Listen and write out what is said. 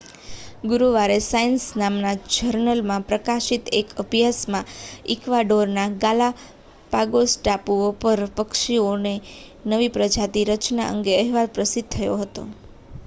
ગુરુવારે સાયન્સ નામના જર્નલમાં પ્રકાશિત એક અભ્યાસમાં ઇક્વાડોરના ગાલાપાગોસ ટાપુઓ પર પક્ષીઓની નવી પ્રજાતિની રચના અંગે અહેવાલ પ્રસિદ્ધ થયો હતો